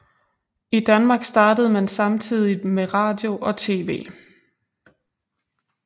I Danmark startede man samtidigt med radio og TV